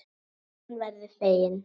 Hún verður fegin.